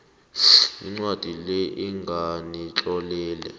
incwadi le enginitlolele